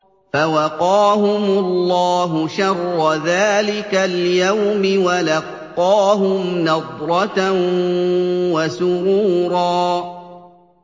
فَوَقَاهُمُ اللَّهُ شَرَّ ذَٰلِكَ الْيَوْمِ وَلَقَّاهُمْ نَضْرَةً وَسُرُورًا